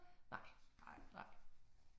Nej, nej